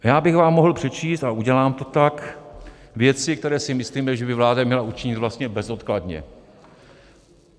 Já bych vám mohl přečíst, a udělám to tak, věci, které si myslíme, že by vláda měla učinit vlastně bezodkladně.